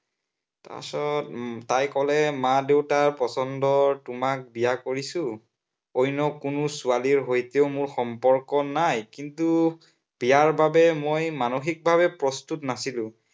পাছত তাই কলে মাৰ-দেউতাৰ পচন্দত তোমাক বিয়া কৰিছো, অন্য় কোনো ছোৱালীৰ সৈতেও মোৰ সম্পৰ্ক নাই। কিন্তু বিয়াৰ বাবে মই মানসিক ভাৱে প্ৰস্তুত নাছিলো।